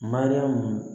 Mariyamu